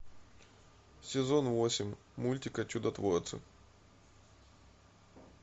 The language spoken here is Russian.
сезон восемь мультика чудотворцы